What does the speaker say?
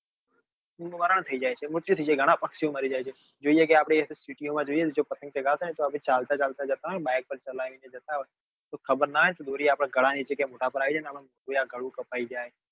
મરણ થઇ જાય છે મૃત્યુ થઇ જાય છે ઘણાં પક્ષી ઓ મારી જાય છે જોઈએ કે આપડે city માં જોઈએ છીએ જો આપડે પતંગ ચગાવતા હોય ને જો આપડે તો ચાલતા ચાલતા જતા હોય ને બાઈક ચાલી ને જતા હોય ને આપણને ખબર નાં હોય ને તો દોરી આપડા ગાળા નીચે કે મોઢા પર આવી જાય તો આપડે કોઈક દિવસ ગળું કપાઈ જાય